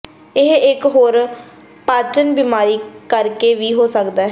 ਇਹ ਇਕ ਹੋਰ ਪਾਚਨ ਬਿਮਾਰੀ ਕਰਕੇ ਵੀ ਹੋ ਸਕਦਾ ਹੈ